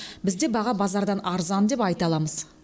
бізде баға базардан арзан деп айта аламыз